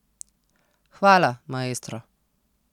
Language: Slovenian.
Hvala, maestro.